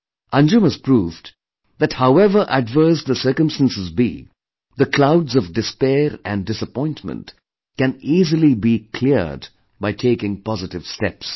Anjum has proved that however adverse the circumstances be, the clouds of despair and disappointment can easily be cleared by taking positive steps